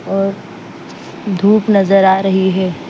और धूप नजर आ रही है।